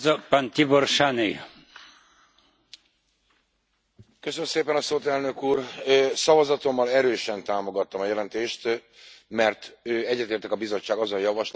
Elnök Úr, szavazatommal erősen támogattam a jelentést, mert egyetértek a Bizottság azon javaslatával, amely szerint az EU nak csatlakoznia kellene az Isztambuli Egyezményhez.